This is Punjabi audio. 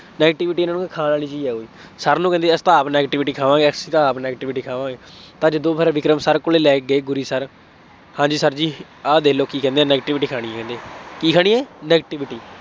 negativity ਇਹਨਾ ਨੂੰ ਖਾਣ ਵਾਲੀ ਚੀਜ਼ ਆ ਕੋਈ, Sir ਨੂੰ ਕਹਿੰਦੀ ਅਸੀਂ ਤਾਂ ਆਪ negativity ਖਾਵਾਂਗੇ, ਅਸੀਂ ਤਾਂ ਆਪ negativity ਖਾਵਾਂਗੇ, ਜਦੋਂ ਫੇਰ ਵਿਕਰਮ sir ਕੋਲੇ ਲੈ ਕੇ ਗਏ ਗੁਰੀ sir ਹਾਂਜੀ sir ਜੀ, ਆਹ ਦੇਖ ਲਉ ਕੀ ਕਹਿੰਦੇ ਹੈ negativity ਖਾਣੀ ਹੈ ਇਹਨੇ, ਕੀ ਖਾਣੀ ਹੈ, negativity